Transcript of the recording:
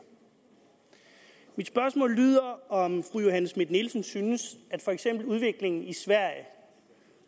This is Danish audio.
mit spørgsmål lyder om fru johanne schmidt nielsen synes at for eksempel udviklingen i sverige